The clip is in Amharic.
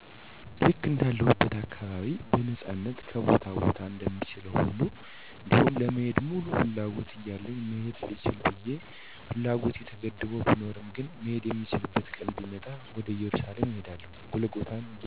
ልክ እንዳለሁበት አካባቢ በነፃነት ከቦታ ቦታ እንደምችለዉ ሁሉ እንዲሁም ለመሄድ ሙሉ ፍላጎት እያለኝ መሄድ ልችል ብየ ፍላጎቴ ተገድቦ ብኖርም ግን "መሄድ የምችልበት ቀን ቢመጣ" ወደ እየሩሳሌም እሄዳለሁ"ጎልጎታን የጌታን መቃብር "ለማየት። አለማትን የፈጠረ "ጌታ ኢየሱስ ክርስቶስ"ሁሉ የእርሱ ሲሆን የሰዉ ልጅ አጥፍቶ በጥፋቱ ስቃይ መከራ ሲበዛበት <እርሱ ጌታ መልካም የዋህ ለሰዉ ሁሉ ቸር ስለሆነ>ፍጥረትን ሁሉ ከስቃይ ለማዳን በፈቃዱ በኢየሩሳሌም ጎልጎታ በምትባል ቦታ"ሶስት ቀን ሶስት ሌሊት በመቃብር "አድራል። ይህንን ያደረገዉ በመልካምነቱ ነዉ። እኔም ይህንን ቦታ በመጎብኘት በረከት አግኝቼ መልካም ሰዉ ለመሆን።